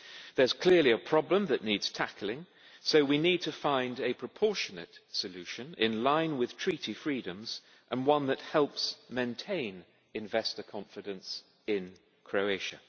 There is clearly a problem that needs tackling, so we need to find a proportionate solution in line with Treaty freedoms and one that helps maintain investor confidence in Croatia.